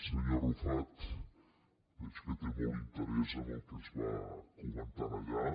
senyor arrufat veig que té molt interès en el que es va comentar allà